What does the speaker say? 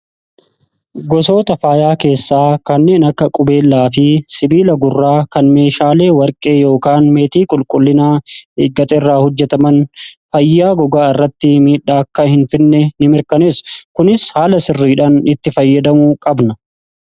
gosoota faayaa keessaa kanneen akka qubeelaa fi sibiila gurraa kan meeshaalee warqee ykaan meetii qulqullinaa eeggate irraa hojjetaman fayyaa gogaa irratti miidhaa akka hin finne in mirkaneessu kunis haala sirriidhaan itti fayyadamu qabna